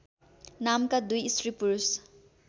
नामका दुई स्त्रीपुरुष